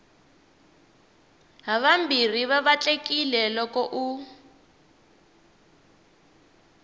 havambirhi va vatlekile loko u